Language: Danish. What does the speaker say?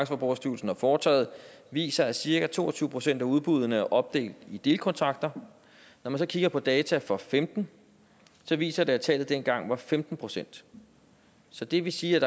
forbrugerstyrelsen har foretaget viser at cirka to og tyve procent af udbuddene er opdelt i delkontrakter når man så kigger på data for femten viser de at tallet dengang var femten procent så det vil sige at